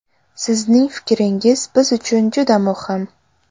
Sizning fikringiz biz uchun juda muhim!